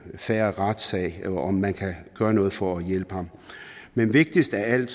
fair retssag og om man kan gøre noget for at hjælpe ham men vigtigst af alt